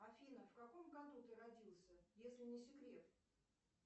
афина в каком году ты родился если не секрет